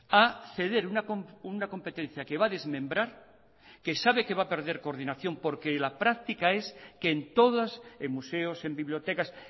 a ceder una competencia que va a desmembrar que sabe que va a perder coordinación porque en la práctica es que en todas en museos en bibliotecas